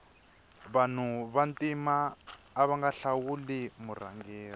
vanu va ntima avanga hlawuli murhangeri